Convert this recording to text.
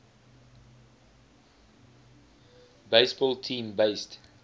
baseball team based